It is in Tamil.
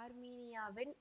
ஆர்மீனியாவின்